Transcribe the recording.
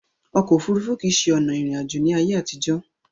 Ọkò òfurufú kìí ṣe ọ̀nà ìrìn àjò ní ayé àtìjọ̀.